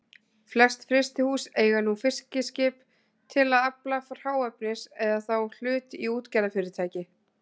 Flest frystihús eiga nú fiskiskip til að afla hráefnis eða þá hlut í útgerðarfyrirtæki.